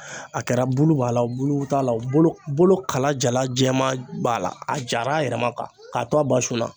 A kɛra bulu b'a la o bulu t'a la bolo bolo kala jala jɛman b'a la a jara a yɛrɛ ma k'a to a ba sunna.